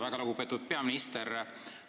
Väga lugupeetud peaminister!